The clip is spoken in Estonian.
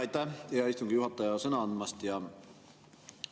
Aitäh, hea istungi juhataja, sõna andmast!